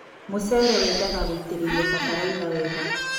Mũcere wendaga gũitĩrĩlio batalaitha wega